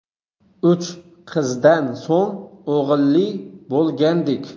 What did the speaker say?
Uch qizdan so‘ng o‘g‘illi bo‘lgandik.